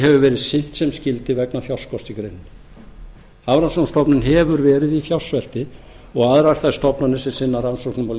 hefur verið sinnt sem skyldi vegna fjárskorts í greininni hafrannsóknastofnun hefur verið í fjársvelti og aðrar þær stofnanir sem sinna rannsóknum á